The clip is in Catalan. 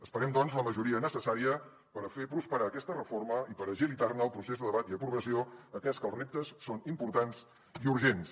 esperem doncs la majoria necessària per fer prosperar aquesta reforma i per agilitar ne el procés de debat i aprovació atès que els reptes són importants i urgents